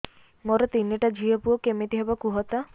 ମୋର ତିନିଟା ଝିଅ ପୁଅ କେମିତି ହବ କୁହତ